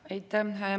Aitäh!